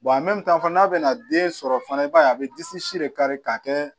n'a bɛna den sɔrɔ fana i b'a ye a bɛ disi de kari ka kɛ